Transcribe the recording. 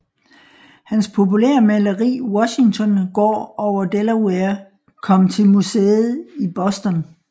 Hans populære maleri Washington går over Delaware kom til museet i Boston